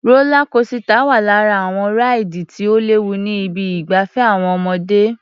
Rólá kosità wà lára àwọn ráìdì tí ò léwu ní ibi ìgbafẹ́ àwọn ọmọdé.